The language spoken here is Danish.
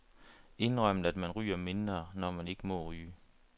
Indrømmet, man ryger mindre, når man ikke må ryge.